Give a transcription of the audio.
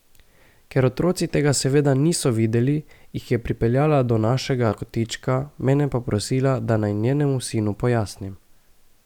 Ker otroci tega seveda niso videli, jih je pripeljala do našega kotička, mene pa prosila, da naj njenemu sinu pojasnim.